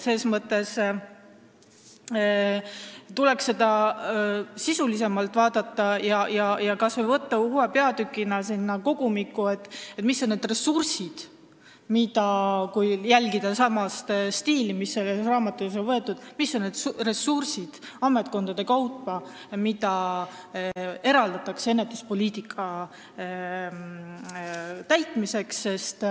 Seda tuleks sisulisemalt vaadata, kas või panna uue peatükina sinna kogumikku see, mis on need ressursid – kui jälgida sama stiili, mis selles raamatus on kasutusel – ametkondade kaupa, mida eraldatakse ennetuspoliitika jaoks.